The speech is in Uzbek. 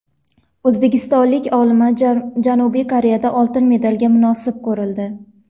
O‘zbekistonlik olima Janubiy Koreyada oltin medalga munosib ko‘rildi.